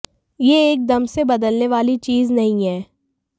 यह एक दम से बदलने वाली चीज नहीं है